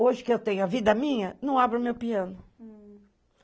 Hoje, que eu tenho a vida minha, não abro o meu piano.